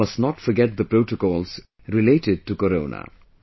You must not forget the protocols related to Corona